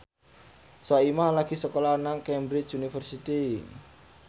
Soimah lagi sekolah nang Cambridge University